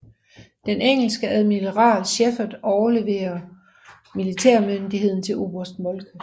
Den engelske admiral Sheppard overleverer militærmyndigheden til oberst Moltke